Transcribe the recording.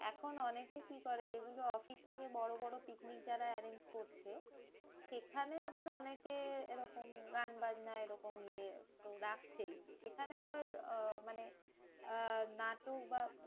এখন অনেকেই কি করে? যেগুলো অফিস থেকে বড়ো বড়ো পিকনিক যারা arrange করছে, সেখানে আবার অনেকে এরকম গান বাজনা এরকম ইয়ে রাখছেই। সেখানে আবার আহ মানে আহ নাটক বা